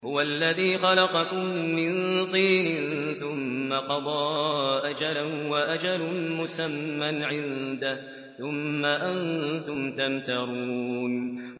هُوَ الَّذِي خَلَقَكُم مِّن طِينٍ ثُمَّ قَضَىٰ أَجَلًا ۖ وَأَجَلٌ مُّسَمًّى عِندَهُ ۖ ثُمَّ أَنتُمْ تَمْتَرُونَ